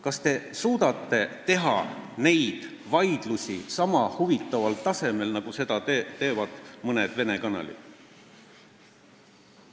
Kas te suudate teha neid vaidlusi sama huvitaval tasemel, nagu seda teevad mõned Vene kanalid?